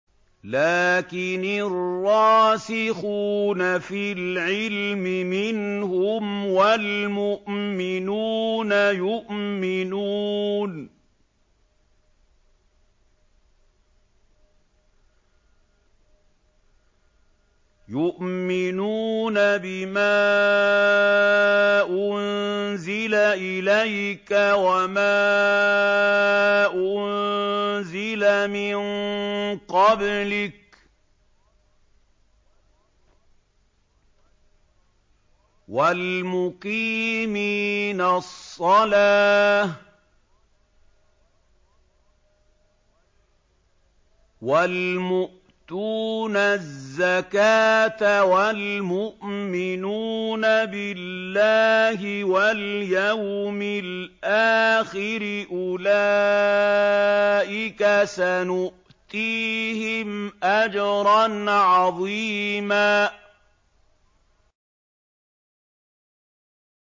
لَّٰكِنِ الرَّاسِخُونَ فِي الْعِلْمِ مِنْهُمْ وَالْمُؤْمِنُونَ يُؤْمِنُونَ بِمَا أُنزِلَ إِلَيْكَ وَمَا أُنزِلَ مِن قَبْلِكَ ۚ وَالْمُقِيمِينَ الصَّلَاةَ ۚ وَالْمُؤْتُونَ الزَّكَاةَ وَالْمُؤْمِنُونَ بِاللَّهِ وَالْيَوْمِ الْآخِرِ أُولَٰئِكَ سَنُؤْتِيهِمْ أَجْرًا عَظِيمًا